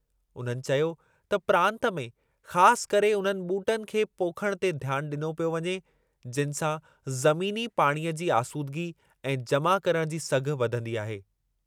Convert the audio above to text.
उन्हनि चयो त प्रांतु में ख़ासि करे उन्हनि ॿूटनि खे पोखणु ते ध्यानु ॾिनो पियो वञे, जिनि सां ज़मीनी पाणीअ जी आसूदगी ऐं जमा करणु जी सघ वधंदी आहे।